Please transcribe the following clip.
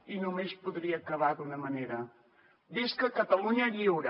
i només podria acabar d’una manera visca catalunya lliure